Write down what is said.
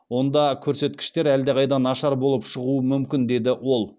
онда көрсеткіштер әлдеқайда нашар болып шығуы мүмкін деді ол